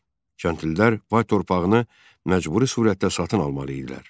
Kəndlilər bəy torpağını məcburi surətdə satın almalı idilər.